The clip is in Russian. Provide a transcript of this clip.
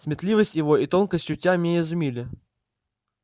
сметливость его и тонкость чутья меня изумили